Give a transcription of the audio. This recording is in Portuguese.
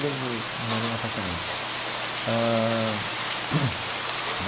Morei em apartamento ãh.